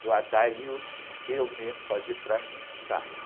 do, porque eu mesmo fazer para mim não dá.